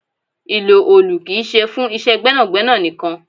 Ìlò òòlù kì í ṣe fún iṣẹ́ gbẹ́nàgbẹ́nà nìkan.